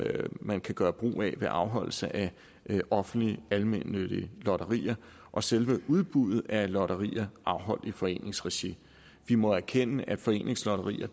man kan gøre brug af ved afholdelse af offentlige almennyttige lotterier og selve udbuddet af lotterier afholdt i foreningsregi vi må erkende at foreningslotterier